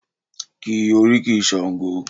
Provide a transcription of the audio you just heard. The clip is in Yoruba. Ki oríkì Sango!